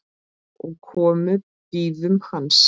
og komu bíðum hans